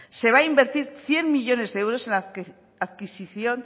se va a invertir cien millónes de euros en la adquisición